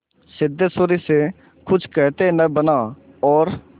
सिद्धेश्वरी से कुछ कहते न बना और